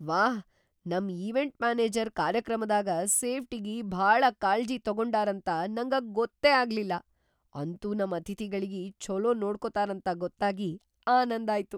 ವಾಹ್, ನಮ್ event manager ಕಾರ್ಯಕ್ರಮದಾಗ ಸೇಫ್ಟಿಗಿ ಭಾಳ ಕಾಳ್ಜಿ‌ ತೊಗೊಂಡಾರಂತ ನಂಗ ಗೊತ್ತೇ ಆಗ್ಲಿಲ್ಲಾ! ಅಂತೂ ನಮ್ ಅತಿಥಿಗಳಿಗಿ ಛೋಲೋ ನೋಡ್ಕೊತಾರಂತ ಗೊತ್ತಾಗಿ ಆನಂದಾಯ್ತು.